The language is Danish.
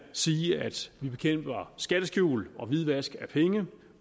sige at vi bekæmper skatteskjul og hvidvask af penge